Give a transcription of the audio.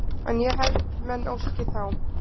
En ég held menn óski þá